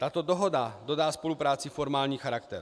Tato dohoda dodá spolupráci formální charakter.